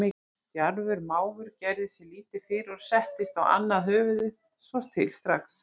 Djarfur máfur gerði sér lítið fyrir og settist á annað höfuðið svo til strax.